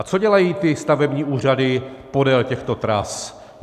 A co dělají ty stavební úřady podél těchto tras?